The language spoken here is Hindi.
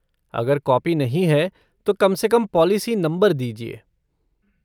अगर कॉपी नहीं है, तो कम से कम पॉलिसी नंबर दीजिए।